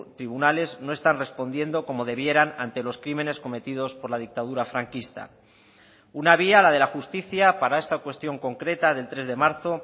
tribunales no están respondiendo como debieran ante los crímenes cometidos por la dictadura franquista una vía la de la justicia para esta cuestión concreta del tres de marzo